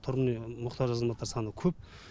тұрғын үйге мұқтаж азаматтар саны көп